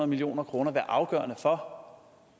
milliarder kroner om